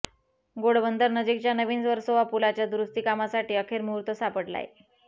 घोडबंदर नजीकच्या नवीन वर्सोवा पुलाच्या दुरुस्ती कामासाठी अखेर मुहूर्त सापडलाय